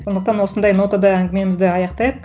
сондықтан осындай нотада әңгімемізді аяқтайық